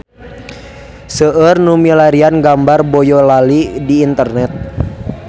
Seueur nu milarian gambar Boyolali di internet